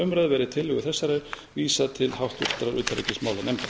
umræðu verði tillögu þessari vísað til háttvirtrar utanríkismálanefndar